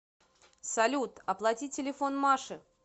салют оплати телефон маши